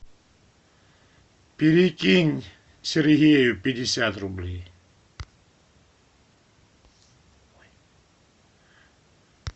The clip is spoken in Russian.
перекинь сергею пятьдесят рублей